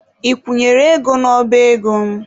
Ị kwụnyere ego n'ọba ego m?